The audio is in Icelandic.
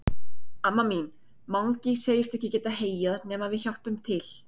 Amma mín, Mangi segist ekki geta heyjað nema við hjálpum til.